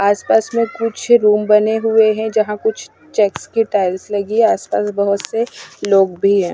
आसपास में कुछ रूम बने हुए हैं जहां कुछ चेक्स के टाइल्स लगी आसपास बहोत से लोग भी है।